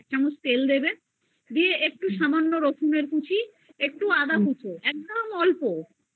এক চামচ তেল দিবে এবং সামান্য রসুন এর কুচি একটু আদা কুচ একদম অল্প আর